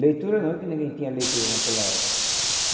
Leitura não, porque ninguém tinha leitura naquela época.